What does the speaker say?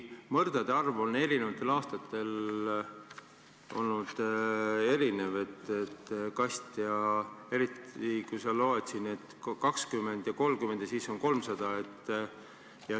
Mõrdade arv on eri aastatel olnud erinev ja sa loed siin, et 20 ja 30 ja siis on 300.